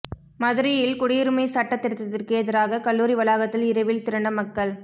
மதுரையில் குடியுரிமை சட்ட திருத்தத்திற்கு எதிராக கல்லூரி வளாகத்தில் இரவில் திரண்ட மக்கள்